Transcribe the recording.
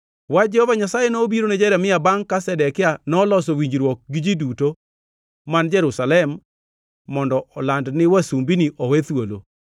Wach Jehova Nyasaye nobiro ne Jeremia bangʼ ka Zedekia noloso winjruok gi ji duto man Jerusalem mondo oland ni wasumbini owe thuolo.